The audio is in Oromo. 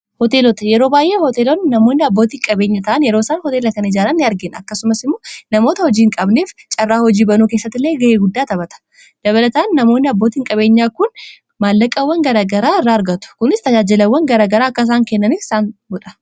hooteelota yeroo baay'ee hooteeloonn namoonn abbootiinqabeenya ta'an yeroo isaan hooteela kan ijaaraan n argiin akkasumas immoo namoota hojii hin qabneef carraa hojii banuu kessatt illee ga'ee guddaa taphata dabalataan namoonni abbootiiin qabeenyaa kun maallaqaawwan gara garaa irra argatu kunis tajaajilawwan garagaraa akkasaan kennaniif isaan godha